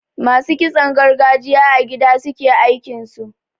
Masu kitson gargajiya a gida suke aikinsu.